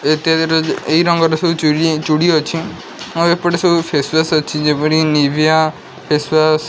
ଏଇ ରଙ୍ଗର ସବୁ ଚୁରି ଚୁଡ଼ି ଅଛି ଆଉ ଏପଟେ ସବୁ ଫେସ୍ ୱାସ୍ ଅଛି। ଯେପରି ନିଭିଆ ଫେସ୍ ୱାସ୍ --